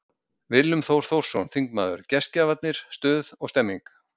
Willum Þór Þórsson, þingmaður: Gestgjafarnir, stuð og stemning.